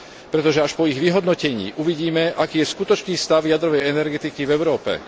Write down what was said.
Pretože až po ich vyhodnotení uvidíme, aký je skutočný stav jadrovej energetiky v Európe.